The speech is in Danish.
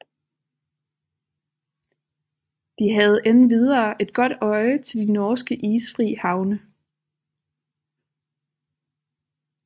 De havde endvidere et godt øje til de norske isfri havne